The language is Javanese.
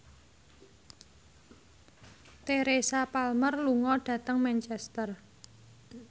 Teresa Palmer lunga dhateng Manchester